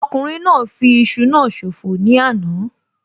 Ọkùnrin náà fi iṣu náà ṣòfò ní àná